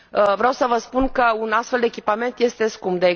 Vreau să vă spun că un astfel de echipament este scump.